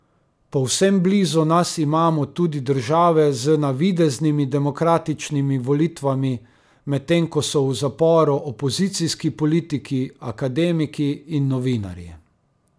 Povsem blizu nas imamo tudi države z navideznimi demokratičnimi volitvami, medtem ko so v zaporu opozicijski politiki, akademiki in novinarji.